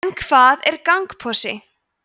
en hvað er gangposi